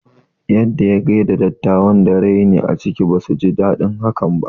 Yadda ya gaida dattawan da raini a ciki, basu ji daɗin haka ba